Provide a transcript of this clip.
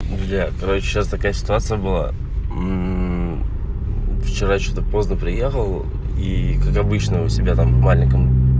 друзья короче сейчас такая ситуация была вчера что-то поздно приехал и как обычно у себя там в маленьком